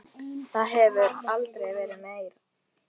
Það hefur aldrei verið meira.